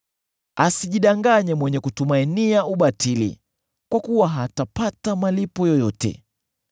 Asijidanganye mwenyewe kutumainia ubatili, kwa kuwa hatapata malipo yoyote.